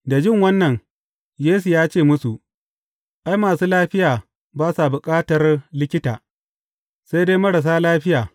Da jin wannan, Yesu ya ce musu, Ai, masu lafiya ba sa bukatar likita, sai dai marasa lafiya.